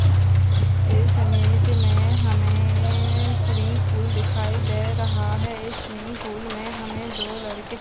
इस इमेज मे हमे स्विमिंग पूल दिखाई दे रहा है स्विमिंग पूल मे हमे दो लड़के--